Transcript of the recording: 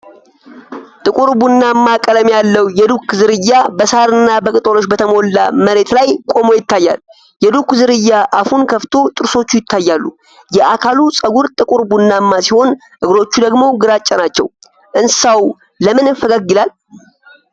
ጥቁርና ቡናማ ቀለም ያለው የዱክ ዝርያ በሳርና በቅጠሎች በተሞላ መሬት ላይ ቆሞ ይታያል። የዱክ ዝርያ አፉን ከፍቶ ጥርሶቹ ይታያሉ። የአካሉ ፀጉር ጥቁር ቡናማ ሲሆን እግሮቹ ደግሞ ግራጫ ናቸው። እንስሳው ለምን ፈገግ ይላል?